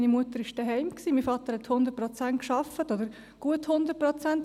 Meine Mutter war zu Hause, mein Vater arbeitete 100 Prozent oder gut 100 Prozent.